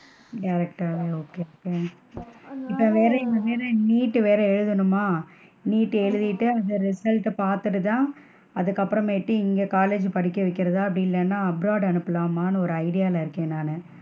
Direct டாவே okay okay இப்போ வேற எங்க, வேற எங்க NEET வேற எழுதணுமா? NEET எழுதிட்டு அந்த result பாத்துட்டு தான், அதுக்கு அப்பறமேட்டு இங்க college படிக்க வைக்கிறதா அப்படி இல்லனா abroad அனுப்பலாமான்னு ஒரு idea ல இருக்கேன் நானு.